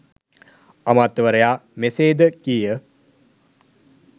අමාත්‍යවරයා මෙසේද කීය